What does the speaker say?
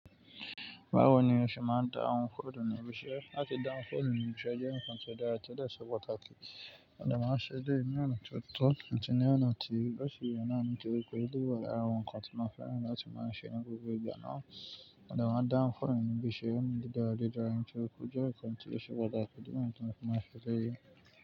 Báwo ni o ṣe máa ń da'un fóònù ní ibi iṣẹ́? Láti da ohun fóònù ní ibi iṣẹ́ jẹ́ ǹkan tó dára ti o dẹ̀ ṣe pàtàkì. Mo dẹ máa ń ṣe eléyìí ní ọ̀nà tó tọ̀, àti ní ọ̀nà tí ó ṣe ìrònú nitori pe o wa lara àwọn ǹkan tí mo fẹ́ràn láti máa ń ṣe ní gbogbo ìgbà náà. Mo dẹ̀ máa dá ohun fóònù ní ibi iṣẹ́, ó ń di dáradára, ó ń ṣe òkòjọ́, ó ń kan tí ó ṣe pàtàkì, ó ń tún ohun kan máa ṣe dé.